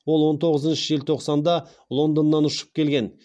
ол он тоғызыншы желтоқсанда лондоннан ұшып келген